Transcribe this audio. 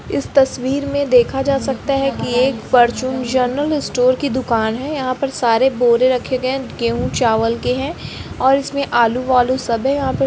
इस तस्वीर में देखा जा सकता है की एक परचून जनरल स्टोर की दुकान है। यहाँ पर सारे बोरे रखे गए हैं गेहू चावल के हैं ओर इसमें आलू-वालु सब है। यहाँ पर --